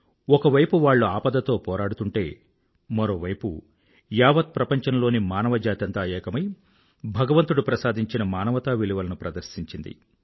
ఒక వైపు వాళ్ళు ఆపదతో పోరాడుతుంటే మరోవైపు యావత్ ప్రపంచం లోని మానవజాతంతా ఏకమై భగవంతుడు ప్రసాదించిన మానవతా విలువలను ప్రదర్శించింది